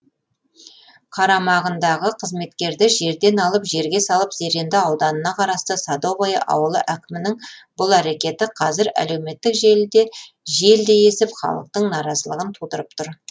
қарамағындағы қызметкерді жерден алып жерге салып зеренді ауданына қарасты садовое ауылы әкімінің бұл әрекеті қазір әлеуметтік желіде желдей есіп халықтың наразылығын тудырып тұр